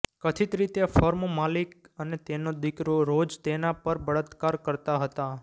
કથિત રીતે ફર્મ માલિક અને તેનો દીકરો રોજ તેના પર બળાત્કાર કરતા હતા